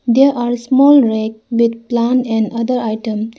they are small rack with plant and other item.